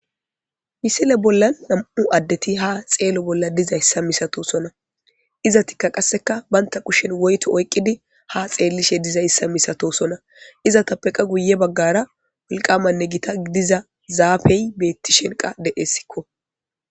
Misile bolla nam7u addeti ha xeelo bolla diza issa misato sona iza tikka qasseka baynta kushen woyto oyqqidi ha xeellishe diza issa misato sona iza tappeqa guye baggara wolqamanne gita idiza zaafey beetti shenqa de7essikko